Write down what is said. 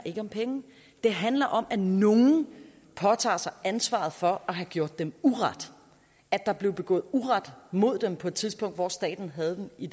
om penge det handler om at nogen påtager sig ansvaret for at have gjort dem uret at der blev begået uret mod dem på et tidspunkt hvor staten havde dem i